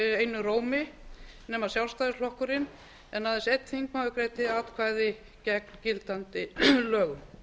einum rómi nema sjálfstæðisflokkurinn en aðeins einn þingmaður greiddi atkvæði gegn gildandi lögum